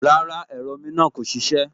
Rárá, ẹ̀rọ omi náà kò ṣiṣẹ́